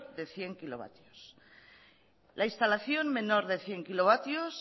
de cien kilovatios la instalación menor de cien kilovatios